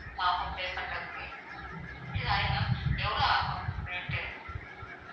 ஆஹ் pay பண்றதுக்கு. sorry ma'am எவ்ளோ ஆகும் rate டு